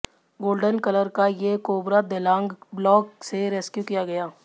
golden colour का ये cobra देलांग ब्लॉग से रेस्क्यू किया गया